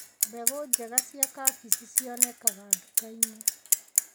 Mbegũ njega cia kabici cionekanaga nduka-inĩ.